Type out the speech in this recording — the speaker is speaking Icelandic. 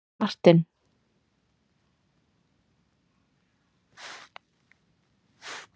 Martin